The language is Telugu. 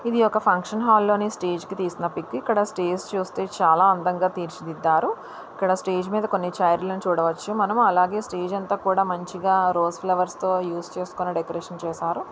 ఇది ఒక ఫంక్షన్ హాల్ లోని స్టేజ్ కి తీసిన పిక్ ఉ. ఇక్కడ స్టేజ్ ఇ చూస్తే చాలా అందంగా తీర్చిదిద్దారు. ఇక్కడ స్టేజ్ ఇ మీద కొన్ని చేర్ లు చూడవచ్చు. మనం అలాగే స్టేజ్ అంతా కూడామంచిగా రోస్ ఫ్లవర్ స్ తో యూస్ చేసుకొని డెకరేషన్ చేశారు.